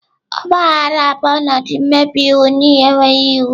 Ogba aghara bụ ọnọdụ mmebi iwu n'ihi enweghị iwu.